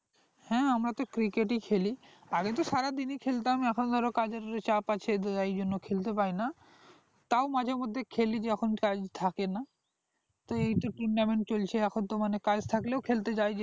হ্যাঁ আমরা তো cricket ই খেলি আগে তো সারাদিনই খেলতাম এখন ধরো কাজের কিছু চাপ আছে সেজন্য বলতে পারিনা তাও মাঝে মধ্যে খেলি যখন কাজ থাকে না তো এই তো tournament চলছে এখন তো মানে কাজ থাকলেও খেলতে যাই